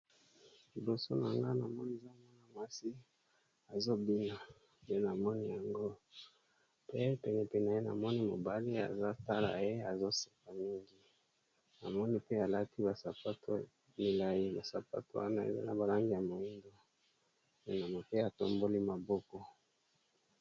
Liboso na nga na moni za mwana mwasi azobina, nde na moni yango pe penepene naye namoni mobali aza kotala ye azosepala mingi, namoni pe alati basapato milayi, basapato wana eza na balangi ya mwindo namoni ke atomboli maboko.